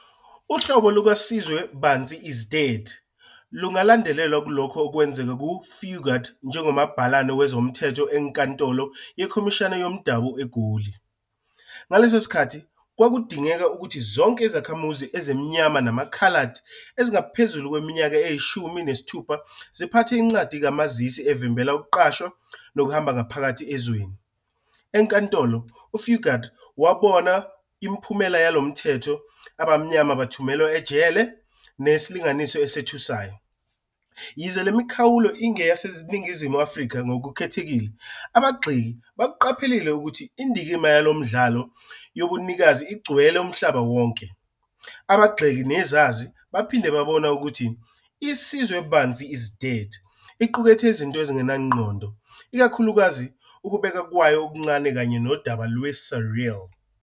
Uhlobo lukaSizwe "Bansi Is Dead" lungalandelwa kulokho okwenzeka kuFugard njengomabhalane wezomthetho eNkantolo Yekhomishana Yomdabu eGoli. Ngaleso sikhathi kwakudingeka ukuthi zonke izakhamuzi ezimnyama namakhaladi ezingaphezulu kweminyaka eyishumi nesithupha ziphathe incwadi kamazisi evimbela ukuqashwa nokuhamba ngaphakathi ezweni. Enkantolo, uFugard wabona imiphumela yalo mthetho- abamnyama bathunyelwa ejele ngesilinganiso esethusayo. Yize le mikhawulo ingeyaseNingizimu Afrika ngokukhethekile, abagxeki bakuqaphelile ukuthi indikimba yalo mdlalo yobunikazi igcwele umhlaba wonke. Abagxeki nezazi baphinde babona ukuthi "iSizwe Bansi Is Dead" iqukethe izinto ezingenangqondo, ikakhulukazi ukubekwa kwayo okuncane kanye nodaba lwe-surreal.